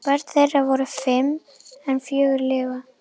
Börn þeirra voru fimm en fjögur lifa.